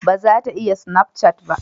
Ba za ta yi sinafcat ba